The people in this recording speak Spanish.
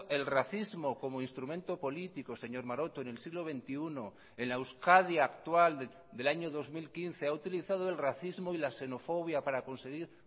el racismo como instrumento político señor maroto en el siglo veintiuno en la euskadi actual del año dos mil quince ha utilizado el racismo y la xenofobia para conseguir